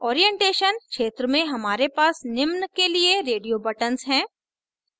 orientation क्षेत्र में हमारे पास निम्न के लिए radio buttons हैं